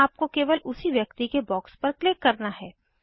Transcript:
तो आपको केवल उसी व्यक्ति के बॉक्स पर क्लिक करना है